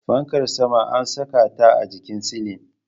Fankar sama ana saka ta a jikin silin